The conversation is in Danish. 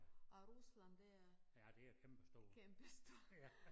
Og Rusland det er kæmpestort